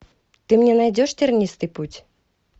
ты мне найдешь тернистый путь